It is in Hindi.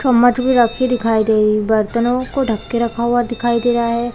चम्मच भी रखी दिखाई दे रहा बर्तनो को ढक के रखा हुआ दिखाई दे रहा है।